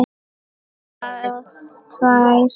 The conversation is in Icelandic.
Og það tvær.